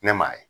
Ne m'a ye